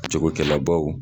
Jakokɛlabaw